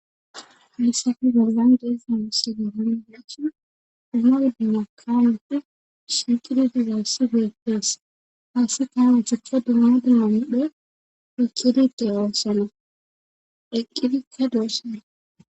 Hamissafe gollan dees inisida hin deachi duma di makamati sinxiditi waassi geetees haassi kaana cuppe duma dilaomidhe ikidite oossalo eqqidite doosala.